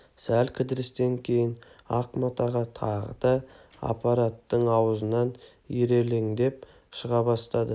сәл кідірістен кейін ақ мата тағы да аппараттың аузынан ирелеңдеп шыға бастады